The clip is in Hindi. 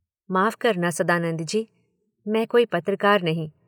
माफ़ करना सदानंद जी, मैं कोई पत्रकार नहीं।